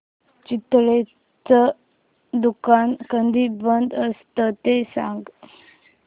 चितळेंचं दुकान कधी बंद असतं ते सांग